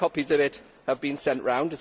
No copies of it have been sent round.